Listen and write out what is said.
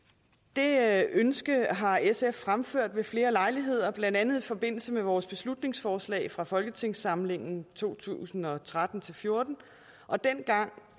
det ønske har sf fremført ved flere lejligheder blandt andet i forbindelse med vores beslutningsforslag fra folketingssamlingen to tusind og tretten til fjorten dengang